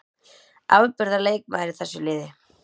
Afburðar leikmaður í þessu liði.